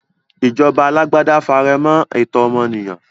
Ìjọba alágbádá faremọ́ ẹ̀tọ́ ọmọ ènìyàn.